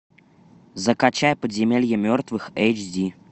закачай подземелье мертвых эйч ди